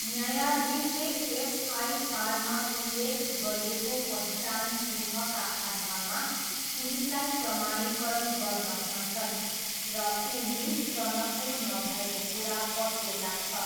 न्यायाधीशले एफआइआरमा उल्लेख गरिएको पहिचान चिह्नका आधारमा पुलिसलाई प्रमाणीकरण गर्न भन्छन् र ऊ मिस टनकपुर नभएको कुरा पत्तो लाग्छ।